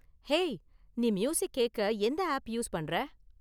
Hey, நீ music கேக்க எந்த ஆப் யூஸ் பண்ற?